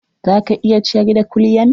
Za ka iya ciyar da kulyan?